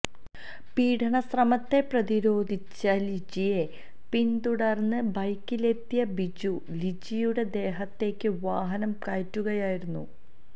പീഡനശ്രമത്തെ പ്രതിരോധിച്ച ലിജിയെ പിന്തുടര്ന്ന് ബൈക്കിലെത്തിയ ബിജു ലിജിയുടെ ദേഹത്തേക്ക് വാഹനം കയറ്റുകയായിരുന്നു